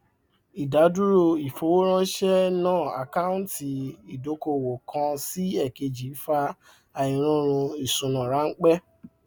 ìdádúró ìfowóránse náà àkáńtì ìdókòwò kan sí èkejì fa àìròrun ìṣúná ránpẹ